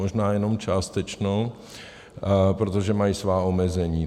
Možná jenom částečnou, protože mají svá omezení.